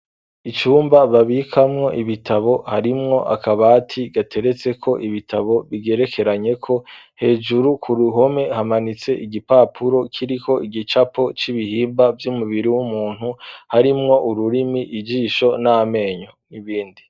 Icumba babikamwo ibitabo harimwo akabati gateretse ko ibitabo bigerekeranye ko hejuru. Ku ruhome hamanitse igipapuro kiriko igicapo c'ibihimba by'umubiri w'umuntu harimwo ururimi igisho n'amenyo nibindi.